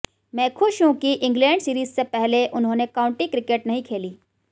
मैं खुश हूं कि इंग्लैंड सीरीज से पहले उन्होंने काउंटी क्रिकेट नहीं खेली